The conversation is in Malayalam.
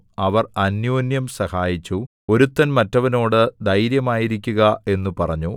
അവർ അന്യോന്യം സഹായിച്ചു ഒരുത്തൻ മറ്റേവനോട് ധൈര്യമായിരിക്കുക എന്നു പറഞ്ഞു